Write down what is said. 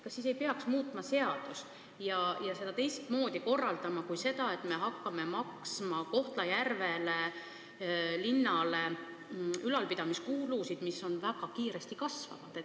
Kas siis ei peaks muutma seadust ja asjad teistmoodi korraldama, mitte nii, et riik hakkab Kohtla-Järve linnale tasuma ülalpidamiskulusid, mis väga kiiresti kasvavad?